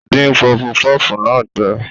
Ó dín pufupúfú náà gbé.